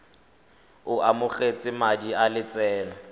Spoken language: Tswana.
o amogetse madi a lotseno